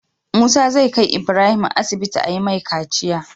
Musa zai kai Ibrahim asibiti ayi mai kaciya